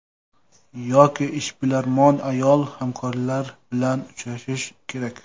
Yoki ishbilarmon ayol, hamkorlari bilan uchrashishi kerak.